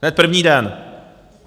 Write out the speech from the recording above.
Hned první den.